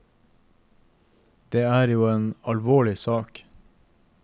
Det er jo en alvorlig sak.